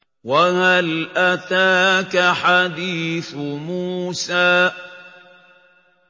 وَهَلْ أَتَاكَ حَدِيثُ مُوسَىٰ